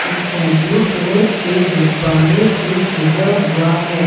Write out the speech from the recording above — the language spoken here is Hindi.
स्काय ब्ल्यू कलर के गुब्बारे से सजा हुआ है।